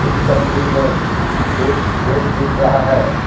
इस तस्वीर में एक बेड दिख रहा है।